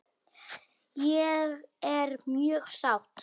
Ég er mjög sátt.